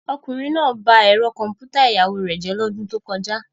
Ọkùnrin náà ba ẹ̀rọ kọ̀m̀pútà ìyàwó rẹ̀ jẹ́ lọ́dún tó kọjá.